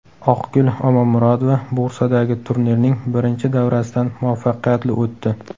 Oqgul Omonmurodova Bursadagi turnirning birinchi davrasidan muvaffaqiyatli o‘tdi.